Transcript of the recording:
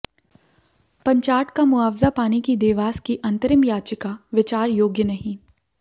पंचाट का मुआवजा पाने की देवास की अंतरिम याचिका विचार योग्य नहीं